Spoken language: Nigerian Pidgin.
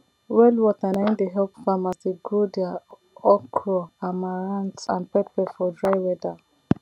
well water nai dey help farmers dey grow their okro amaranth and pepper for dry weather